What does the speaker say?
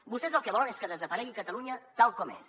vostès el que volen és que desaparegui catalunya tal com és